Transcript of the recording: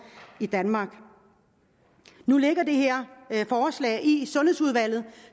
i danmark nu ligger det her forslag i sundhedsudvalget